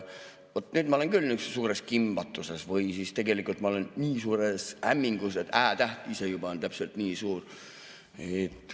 Vot nüüd ma olen küll suures kimbatuses või tegelikult ma olen nii suures hämmingus, et Ä‑täht ise juba on täpselt nii suur.